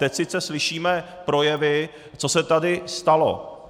Teď sice slyšíme projevy, co se tady stalo.